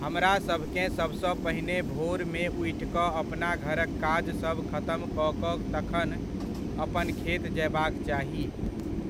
हमरासभकेँ सबसँ पहिने भोरमे उठि कऽ अपना घरक काज सब खतम कऽ कऽ तखन अपन खेत जयबाक चाही,